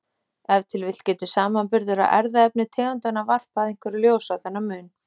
Ef til vill getur samanburður á erfðaefni tegundanna varpað einhverju ljósi á þennan mun.